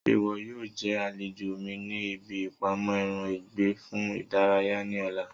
Ṣé ìwọ yóò jẹ́ àlejò mi ní ibi ìpamọ́ ẹran ìgbẹ́ fún ìdárayá ní ọ̀la?